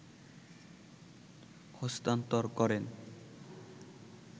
হস্তান্তর করেন